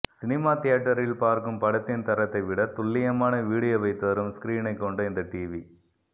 cinema தியேட்டரில் பார்க்கும் படத்தின் தரத்தை விட துல்லியமான வீடியோவை தரும் ஸ்க்ரீனை கொண்ட இந்த டிவி